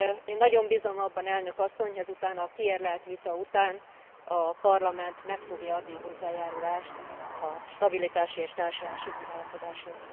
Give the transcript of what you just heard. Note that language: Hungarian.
Én nagyon bízom abban, elnök asszony, ezután a kiérlelt vita után a Parlament meg fogja adni a hozzájárulást a stabilitási és társulási megállapodáshoz.